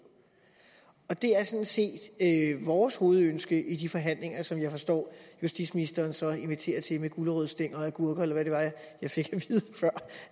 og det er sådan set vores hovedønske i de forhandlinger som jeg forstår justitsministeren så inviterer til med gulerodsstænger og agurker eller hvad det var jeg fik